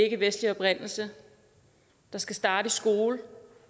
ikkevestlig oprindelse der skal starte i skolen